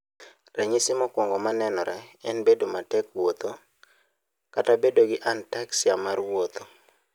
Ranyisi mokwongo ma nenore en bedo matek wuotho, kata bedo gi ataxia mar wuotho.